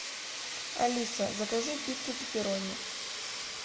алиса закажи пиццу пепперони